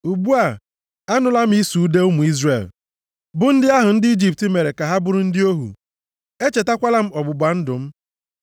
Ugbu a, anụla m ịsụ ude ụmụ Izrel, bụ ndị ahụ ndị Ijipt mere ka ha bụrụ ndị ohu. Echetakwala m ọgbụgba ndụ m.